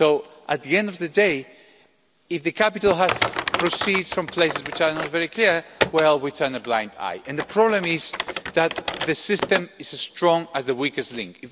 So, at the end of the day, if the capital includes proceeds from places which are not very clear, we turn a blind eye. And the problem is that the system is as strong as the weakest link.